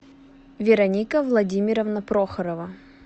вероника владимировна прохорова